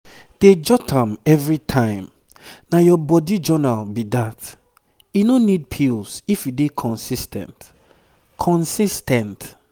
dey jot am every time na your body journal be that. e no need pills if you dey consis ten t consis ten t